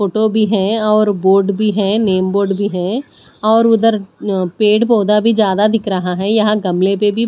photo भी है और बोर्ड भी है नेम बोर्ड भी है और उधर पेड़ पौधा भी ज्यादा दिख रहा है यहां गमले पे भी--